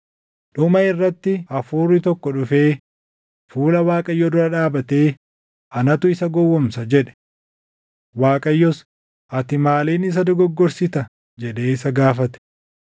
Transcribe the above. Dhuma irratti hafuurri tokko dhufee fuula Waaqayyoo dura dhaabatee, ‘Anatu isa gowwoomsa’ jedhe. “ Waaqayyos, ‘Ati maaliin isa dogoggorsita?’ jedhee isa gaafate.